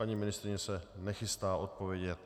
Paní ministryně se nechystá odpovědět?